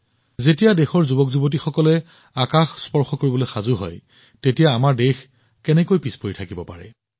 যেতিয়া দেশৰ যুৱকযুৱতীসকলে আকাশ স্পৰ্শ কৰিবলৈ সাজু হয় তেতিয়া আমাৰ দেশ কেনেকৈ পিছ পৰি থাকিব পাৰে